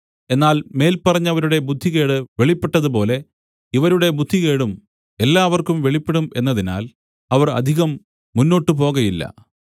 എന്നാൽ മേല്പറഞ്ഞവരുടെ ബുദ്ധികേട് വെളിപ്പെട്ടതുപോലെ ഇവരുടെ ബുദ്ധികേടും എല്ലാവർക്കും വെളിപ്പെടും എന്നതിനാൽ അവർ അധികം മുന്നോട്ടുപോകയില്ല